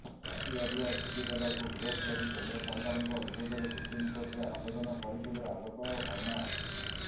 ରାତି ଅଧିଆ ଛୁଟି ଦେବାକୁ ବିରୋଧ କରି କେନ୍ଦ୍ର ସରକାରଙ୍କ ବିରୋଧରେ ସୁପ୍ରିମକୋର୍ଟରେ ଆବେଦନ କରିଥିଲେ ଆଲୋକ ବର୍ମା